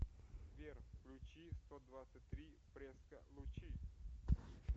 сбер включи стодвадцатьтри преско лучи